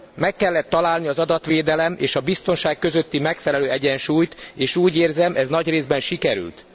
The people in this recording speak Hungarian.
Meg kellett találni az adatvédelem és a biztonság közötti megfelelő egyensúlyt, és úgy érzem, ez nagy részben sikerült.